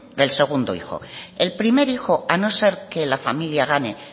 del segundo hijo el primer hijo a no ser que la familia gane